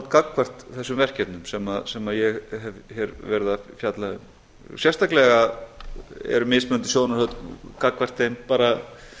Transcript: gagnvart þessum verkefnum sem ég hef hér verið að fjalla um sérstaklega eru mismunandi sjónarhorn gagnvart þeim bara